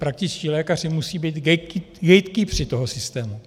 Praktičtí lékaři musí být gatekeepeři toho systému.